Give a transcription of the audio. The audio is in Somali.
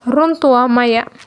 runtu waa maya.